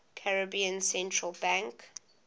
caribbean central bank